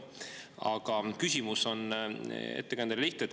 Aga küsimus ettekandjale on lihtne.